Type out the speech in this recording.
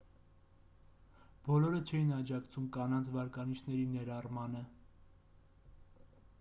բոլորը չէին աջակցում կանանց վարկանիշների ներառմանը